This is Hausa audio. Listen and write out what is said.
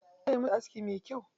Zai yi musu aski me kyau.